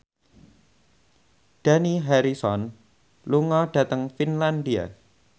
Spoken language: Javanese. Dani Harrison lunga dhateng Finlandia